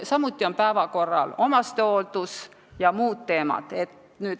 Samuti on päevakorral omastehooldus ja muud teemad.